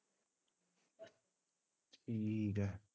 ਠੀਕ ਐ